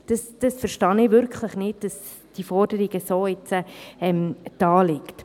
Ich verstehe es wirklich nicht, dass diese Forderung jetzt so vorliegt.